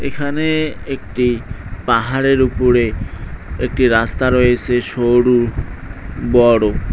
এখানে একটি পাহাড়ের উপরে একটি রাস্তা রয়েছে সরু বড়ো।